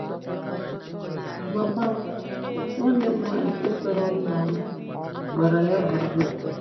Mama m, nwanne m nwaanyị nke tọrọ m na mụ gbara ya gburugburu.